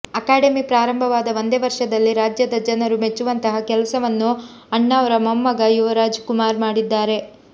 academy ಪ್ರಾರಂಭವಾದ ಒಂದೇ ವರ್ಷದಲ್ಲಿ ರಾಜ್ಯದ ಜನರು ಮೆಚ್ಚುವಂತಹ ಕೆಲಸವನ್ನು ಅಣ್ಣಾವ್ರ ಮೊಮ್ಮಗ ಯುವರಾಜ್ ಕುಮಾರ್ ಮಾಡಿದ್ದಾರೆ